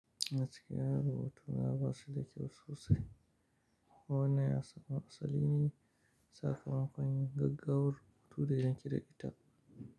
Masu kiyaye rubutuna ba su da kyau sosai. Wannnab ya samo asali ne ya saka makon yin gaggawar rubutu da yanke dakita?